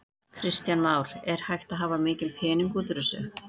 Kristján Már: Er hægt að hafa mikinn pening út úr þessu?